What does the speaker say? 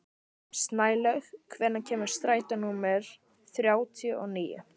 Snælaug, hvenær kemur strætó númer þrjátíu og níu?